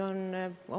Tänan küsimuse eest!